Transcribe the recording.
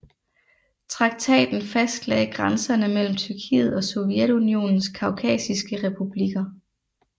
Traktaten fastlagde grænserne mellem Tyrkiet og Sovjetunionens kaukasiske republikker